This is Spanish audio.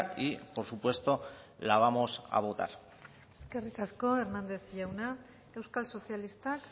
y por supuesto la vamos a votar eskerrik asko hernández jauna euskal sozialistak